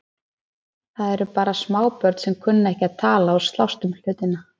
Það eru bara smábörn sem kunna ekki að tala og slást um hlutina.